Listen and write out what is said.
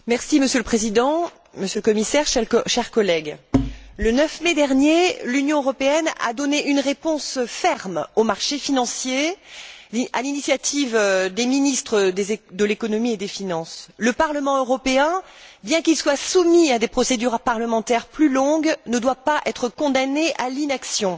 Monsieur le Président, Monsieur le Commissaire, chers collègues, le 9 mai dernier, l'Union européenne a donné une réponse ferme aux marchés financiers, à l'initiative des ministres de l'économie et des finances. Le Parlement européen, bien qu'il soit soumis à des procédures parlementaires plus longues, ne doit pas être condamné à l'inaction.